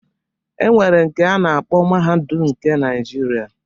E nwere nke a na-akpọ Mahadum nke Naijiria.